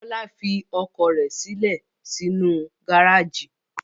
Bọ́lá fi ọkọ̀ rẹ̀ sílẹ̀ sínú gárájì.